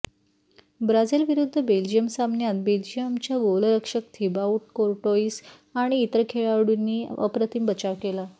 Brazil विरुद्ध Belgium सामन्यांत बेल्जियमच्या गोलरक्षक थिबाऊट कोर्टोइस आणि इतर खेळाडूंनी अप्रतिम बचाव केला